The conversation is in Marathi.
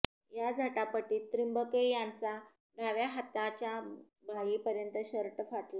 या झटापटीत त्रिंबके यांचा डाव्या हाताच्या बाहीपर्यंत शर्ट फाटला